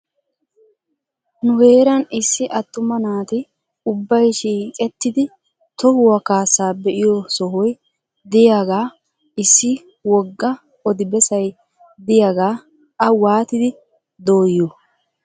Nu heeran issi attuma naati ubbay shiiqettidi tohuwaa kaasaa be'iyoo sohoy diyaaga issi wogga odi bessay diyaagaa a waatidi dooyiyoo?